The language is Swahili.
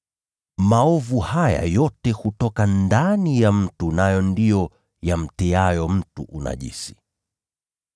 Maovu haya yote hutoka ndani ya mtu, nayo ndiyo yamtiayo mtu unajisi.”